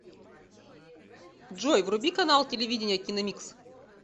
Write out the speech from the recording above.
джой вруби канал телевидения киномикс